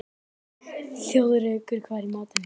Þjóðrekur, hvað er í matinn?